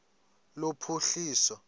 lophuhliso